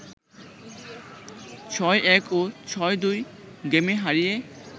৬-১ ও ৬-২ গেমে হারিয়ে